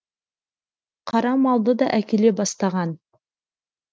қара малды да әкеле бастаған